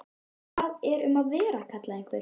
Hvað er um að vera? kallaði einhver.